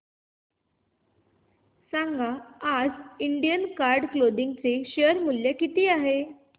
सांगा आज Indian card clothing चे शेअर मूल्य किती आहे